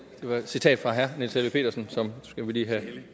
var et citat fra herre niels helveg petersen